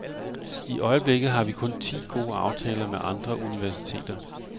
I øjeblikket har vi kun ti gode aftaler med andre universiteter.